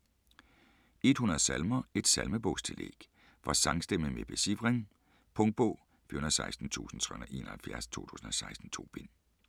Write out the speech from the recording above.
100 salmer: et salmebogstillæg For sangstemme med becifring. Punktbog 416371 2016. 2 bind.